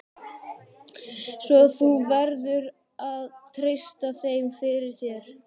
Svo þú verður að treysta þeim fyrir. þér.